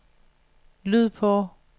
lyd på